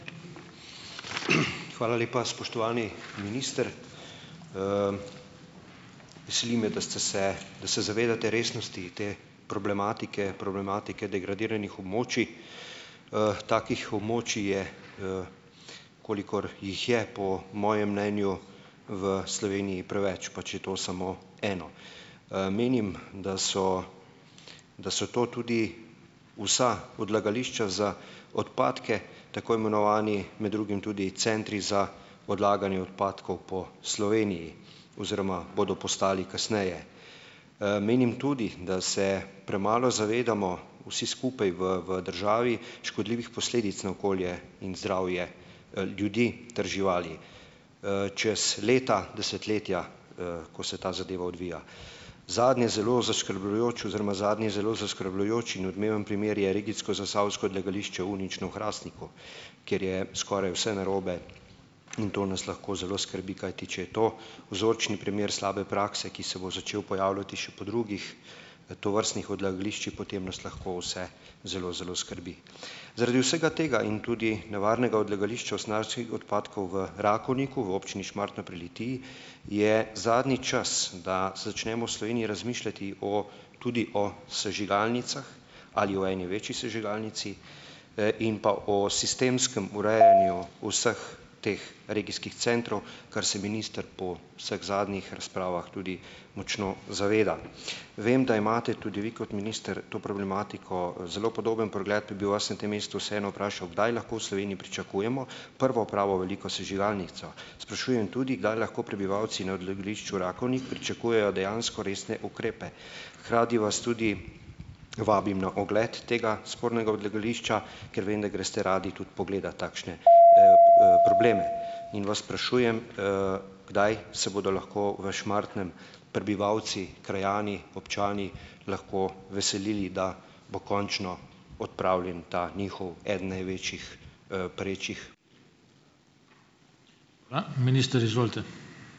Hvala lepa, spoštovani minister. Veseli me, da ste se, da se zavedate resnosti te problematike problematike degradiranih območij. Takih območij je, kolikor jih je, po mojem mnenju v Sloveniji preveč, pa če je to samo eno. Menim, da so da so to tudi vsa odlagališča za odpadke tako imenovani med drugim tudi centri za odlaganje odpadkov po Sloveniji oziroma bodo postali kasneje. Menim tudi, da se premalo zavedamo vsi skupaj v v državi škodljivih posledic na okolje in zdravje, ljudi ter živali, čez leta, desetletja, ko se ta zadeva odvija. Zadnje zelo zaskrbljujoč oziroma zadnji zelo zaskrbljujoč in odmeven primer je regijsko zasavsko odlagališče Unično v Hrastniku, kjer je skoraj vse narobe, in to nas lahko zelo skrbi. Kajti če je to vzorčni primer slabe prakse, ki se bo začel pojavljati še po drugih, tovrstnih odlagališčih, potem nas lahko vse zelo zelo skrbi. Zaradi vsega tega in tudi nevarnega odlagališča usnjarskih odpadkov v Rakovniku v občini Šmartno pri Litiji je zadnji čas, da se začnemo v Sloveniji razmišljati o tudi o sežigalnicah ali o eni večji sežigalnici, in pa o sistemskem urejanju vseh teh regijskih centrov, kar se minister po vseh zadnjih razpravah tudi močno zaveda. Vem, da imate tudi vi kot minister to problematiko, zelo podoben pogled, pa bi vas na tem mestu vseeno vprašal: Kdaj lahko v Sloveniji pričakujemo prvo pravo veliko sežigalnico? Sprašujem tudi, kdaj lahko prebivalci na odlagališču Rakovnik pričakujejo dejansko resne ukrepe? Hkrati vas tudi vabim na ogled tega spornega odlagališča, ker vem, da greste radi tudi pogledat takšne, probleme. In vas sprašujem: Kdaj se bodo lahko v Šmartnem prebivalci, krajani, občani lahko veselili, da bo končno odpravljen ta njihov, eden največjih, perečih ...